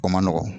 O man nɔgɔn